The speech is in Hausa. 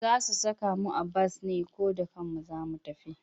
Za su saka mu a bas ne ko da kanmu za mu tafi?